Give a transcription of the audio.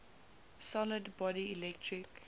solid body electric